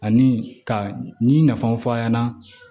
Ani ka ni nafaw fɔ a ɲɛna